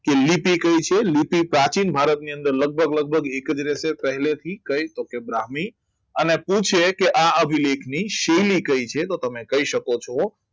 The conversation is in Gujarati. તો લિપ તો લીધી પ્રાચીન ભારતની અંદર લગભગ લગભગ એકત્રિસ થી પહેલેથી કંઈક બ્રાહ્મે અને પૂછે કે આ અભિલેખની સહેલી કહે છે તો તમે કહી શકો છો